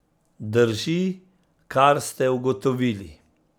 Drži, kar ste ugotovili.